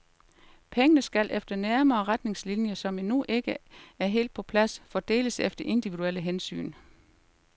Pengene skal efter nærmere retningslinjer, som endnu ikke er helt på plads, fordeles efter individuelle hensyn.